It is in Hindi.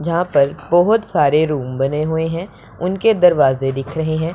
जहां पर बहोत सारे रूम बने हुए हैं उनके दरवाज़े दिख रहे हैं।